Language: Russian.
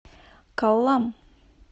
коллам